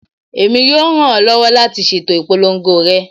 Emi yoo ran ọ lọwọ lati ṣeto ipolongo rẹ